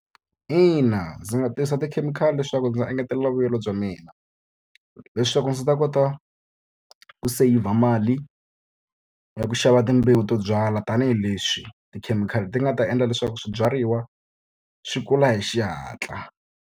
Ina ndzi nga tirhisa tikhemikhali leswaku ndzi engetela vuyelo bya mina. Leswaku ndzi ta kota ku saseyivha mali ya ku xava timbewu to byala tanihileswi tikhemikhali ti nga ta endla leswaku swibyariwa swi kula hi xihatla.